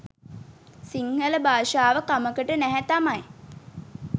සිංහල භාෂාව කමකට නැහැ තමයි.